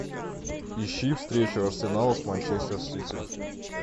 ищи встречу арсенала с манчестер сити